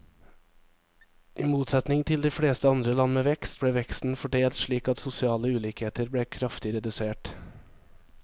I motsetning til de fleste andre land med vekst, ble veksten fordelt slik at sosiale ulikheter ble kraftig redusert.